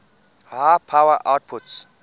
high power outputs